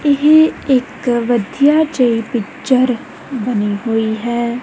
ਇਹ ਇੱਕ ਵਧੀਆ ਜਿਹੀ ਪਿਕਚਰ ਬਣੀ ਹੋਈ ਹੈ।